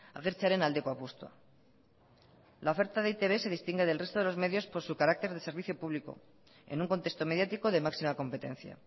agertzearen aldeko apustua la oferta de e i te be se distingue del resto de los medios por su carácter de servicio público en un contexto mediático de máxima competencia